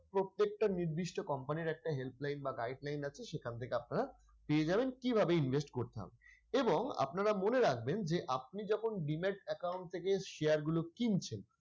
প্রত্যেকটা নির্দিষ্ট company র একটা helpline বা guideline আছে সেখান থেকে আপনারা পেয়ে যাবেন কীভাবে invest করতে হবে এবং আপনারা মনে রাখবেন যে আপনি যখন demat account থেকে share গুলো কিনছেন,